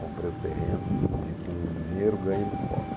Comprei o terreno, com o di com o dinheiro ganho em Mucoca.